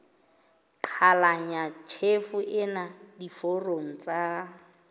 qhalanya tjhefo ena diforong tsa